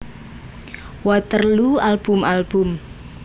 Waterloo album album